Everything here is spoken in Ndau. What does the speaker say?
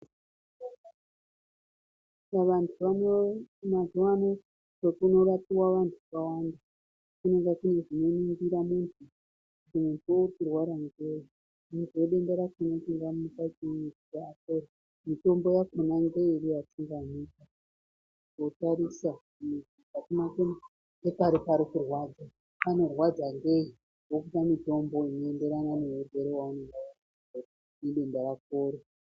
Kuzvibhedhlera mazuwaano kunorapiwe vanthu vakawanda kunenge kune zvinoringira munthu kuti uri kurwara ngei denda racho mitombo yacho ngupi watingamupa votarisa ngepqri pari kurwadza parikurwadza ngei wopuwa mutombo inoenderena neurwere hwaunenge unahwo nedenda rakoro.